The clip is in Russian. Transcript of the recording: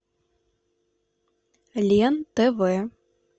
лен тв